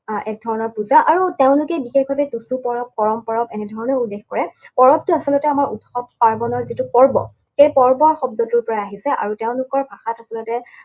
আহ এক ধৰণৰ পূজা আৰু তেওঁলোকে বিশেষভাৱে টুচু পৰব, কৰম পৰব, এনেধৰণেই উল্লেখ কৰে। পৰবটো আচলতে আমাৰ উৎসৱ পাৰ্বণৰ যিটো পৰ্ব, সেই পৰ্ব শব্দটোৰ পৰা আহিছে। আৰু তেওঁলোকৰ ভাষাত আচলতে